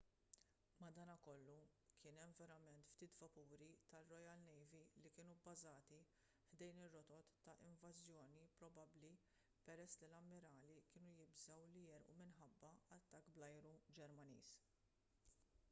madankollu kien hemm verament ftit vapuri tar-royal navy li kienu bbażati ħdejn ir-rotot ta' invażjoni probabbli peress li l-ammirali kienu jibżgħu li jegħrqu minħabba attakk bl-ajru ġermaniż